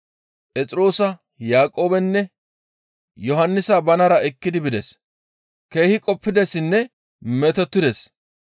Phexroosa, Yaaqoobenne Yohannisa banara ekki bides. Keehi qoppidessinne metotides.